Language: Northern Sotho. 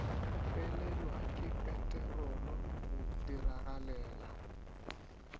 felelwa ke peterolo go diragalela